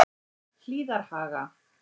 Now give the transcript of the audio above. Hlíðarhaga